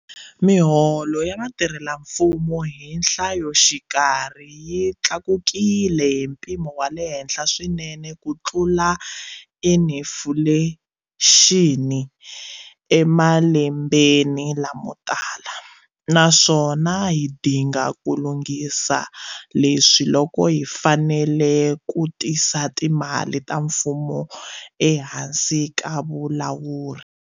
Miholo ya vatirhelamfumo hi nhlayoxikarhi yi tlakukile hi mpimo wa le henhla swinene kutlula inifulexini emalembeni lamo tala, naswona hi dinga ku lunghisa leswi loko hi fanele ku tisa timali ta mfumo ehansi ka vulawuri.